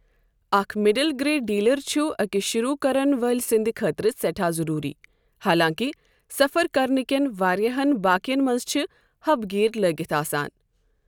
اَکھ middle grade derailer چُھ أکِس شُروٗع کَرن وٲلہِ سٕنٛدِ خٲطرٕ سیٚٹھاہ ضروری، حالانٛکہِ سَفر کرنہٕ کیٚن واریاہن بایکَن منٛز چھِ حَب گِیَر لٔگِتھ آسان